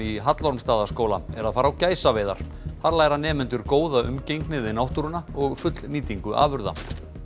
í Hallormsstaðaskóla er að fara á gæsaveiðar þar læra nemendur góða umgengni við náttúruna og fullnýtingu afurða